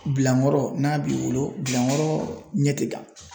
Bilankɔrɔ n'a b'i bolo, bilankɔrɔ ɲɛ ti gan